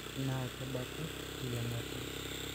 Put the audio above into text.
Naa kebaki teyiangata